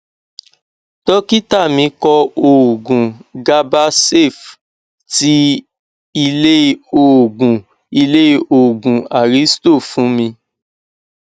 dọkítà mí kọ òògun gabasafe ti ilé òògùn ilé òògùn aristo fún mi